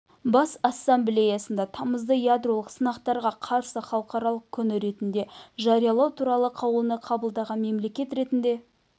бас ассамблеясында тамызды ядролық сынақтарға қарсы халықаралық күні ретінде жариялау туралы қаулыны қабылдаған мемлекет ретінде